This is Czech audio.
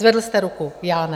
Zvedl jste ruku, já ne.